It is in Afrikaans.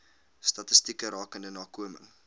statistieke rakende nakoming